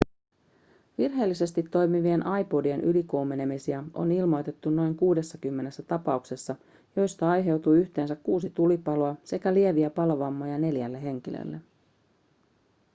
virheellisesti toimivien ipodien ylikuumenemisia on ilmoitettu noin 60 tapauksessa joista aiheutui yhteensä kuusi tulipaloa sekä lieviä palovammoja neljälle henkilölle